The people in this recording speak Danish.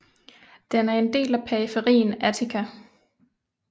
Den er en del af periferien Attica